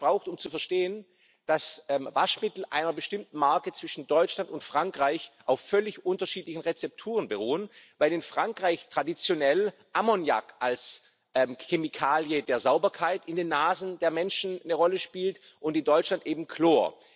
Ich habe lange gebraucht, um zu verstehen, dass Waschmittel einer bestimmten Marke in Deutschland und Frankreich auf völlig unterschiedlichen Rezepturen beruhen, weil in Frankreich traditionell Ammoniak als Chemikalie der Sauberkeit in den Nasen der Menschen eine Rolle spielt und in Deutschland eben Chlor.